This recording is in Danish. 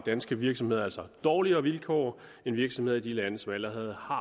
danske virksomheder altså dårligere vilkår end virksomheder i de lande som allerede har